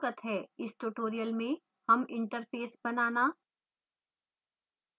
इस tutorial में हम interface बनाना